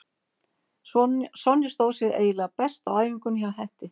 Sonja stóð sig eiginlega best á æfingunni hjá Hetti.